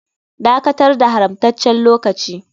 Dakatar da haramtaccen lokaci.